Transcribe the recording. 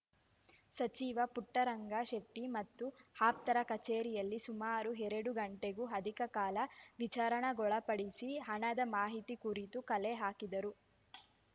ಸಚಿವ ಪುಟ್ಟರಂಗ ಶೆಟ್ಟಿಮತ್ತು ಆಪ್ತರ ಕಚೇರಿಯಲ್ಲಿ ಸುಮಾರು ಎರಡು ಗಂಟೆಗೂ ಅಧಿಕ ಕಾಲ ವಿಚಾರಣೆಗೊಳಪಡಿಸಿ ಹಣದ ಮಾಹಿತಿ ಕುರಿತು ಕಲೆ ಹಾಕಿದರು